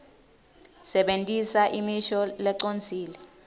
sebentisa imisho lecondzile